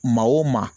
Maa o maa